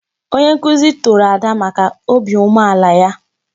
Onye nkuzi toro Ada maka obi umeala ya.